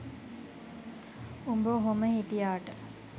උඹ ඔහොම හිටියාට